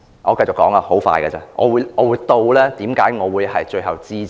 我繼續說下去，很快會說完，我會指出為何我最後支持議案。